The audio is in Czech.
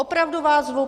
Opravdu vás zvu.